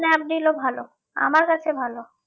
স্ন্যাপডিলও ভালো আমার কাছে ভালো